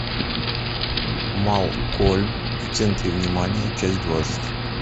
малкольм в центре внимания часть двадцать